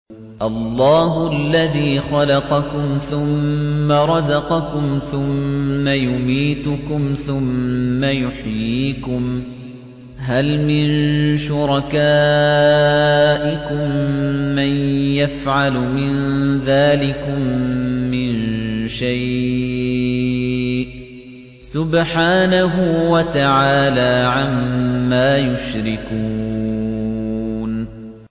اللَّهُ الَّذِي خَلَقَكُمْ ثُمَّ رَزَقَكُمْ ثُمَّ يُمِيتُكُمْ ثُمَّ يُحْيِيكُمْ ۖ هَلْ مِن شُرَكَائِكُم مَّن يَفْعَلُ مِن ذَٰلِكُم مِّن شَيْءٍ ۚ سُبْحَانَهُ وَتَعَالَىٰ عَمَّا يُشْرِكُونَ